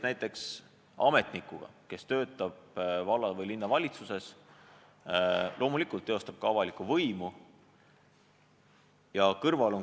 Näiteks, ametnik, kes töötab valla- või linnavalitsuses ja loomulikult teostab ka avalikku võimu, ning koolidirektor.